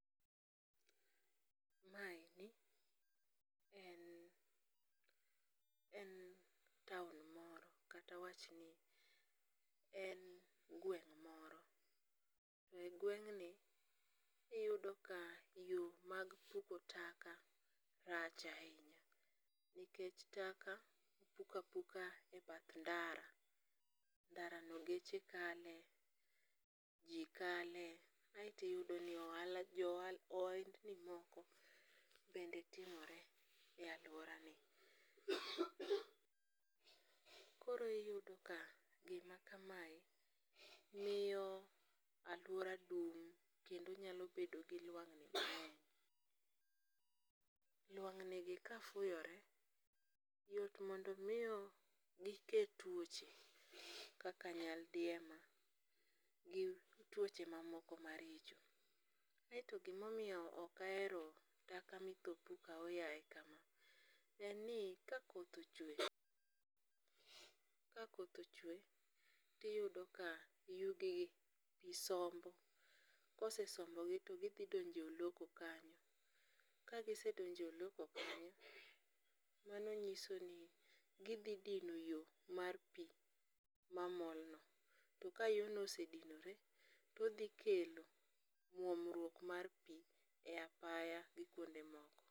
Mae en en town moro kata awachni en gweng' moro, e gweng'ni iyudo ka yo mag puko taka rach ahinya nikech taka ipukoo apuka e bath ndara, ndarano geche kale, ji kale, kaeto iyudoni jo ohendni moko bende timore e aluorani, koro iyudo ka gima kamae miyo aluora dum kendo nyalo bedo gi lwang'ni mang'eny. Lwang'ni ka fuyore yot mondo omiyo gike twoche kaka nyaldiema gi twoche mamoko maricho. Kaeto gimomiyo okahero taka mitho puk ahoyaye kamae, en ni ka koth ochwe ka koth ochwe tiyudo ka yugigi pi sombo kosesombogi to githi donje e oloko kanyo, kagisedonje e oloko kanyo mano nyisoni dithidino yo mar pi mamolno to ka yono osedinore odhikelo mwomruok mar pi e apaya gi kuonde mamoko.